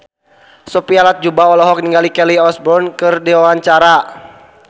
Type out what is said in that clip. Sophia Latjuba olohok ningali Kelly Osbourne keur diwawancara